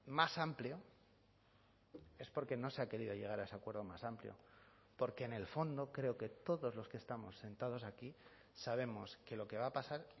más amplio es porque no se ha querido llegar a ese acuerdo más amplio porque en el fondo creo que todos los que estamos sentados aquí sabemos que lo que va a pasar